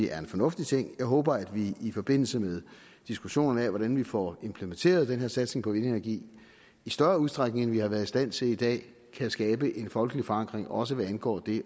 er fornuftig jeg håber at vi i forbindelse med diskussionerne om hvordan vi får implementeret den her satsning på vindenergi i større udstrækning end vi har været i stand til i dag kan skabe en folkelig forankring også hvad angår det